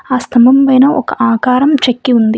ఆ స్తంభం పైన ఒక ఆకారం చెక్కి ఉంది.